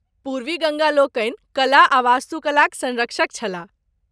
पूर्वी गङ्गा लोकनि कला आ वास्तुकलाक सँरक्षक छलाह।